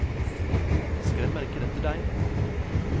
Skremmer ikke dette deg?